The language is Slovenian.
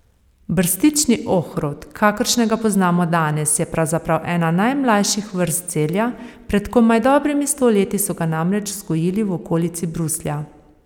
Brstični ohrovt, kakršnega poznamo danes, je pravzaprav ena najmlajših vrst zelja, pred komaj dobrimi sto leti so ga namreč vzgojili v okolici Bruslja.